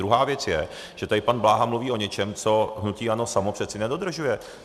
Druhá věc je, že tady pan Bláha mluví o něčem, co hnutí ANO samo přeci nedodržuje.